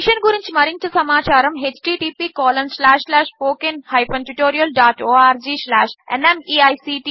ఈ మిషన్ గురించి మరింత సమాచారము httpspoken tutorialorgNMEICT Intro